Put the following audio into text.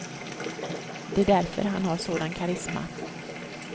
Det är därför han har sådan karisma.